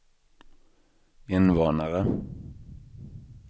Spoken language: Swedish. invånare